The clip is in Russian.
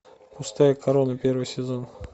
пустая корона первый сезон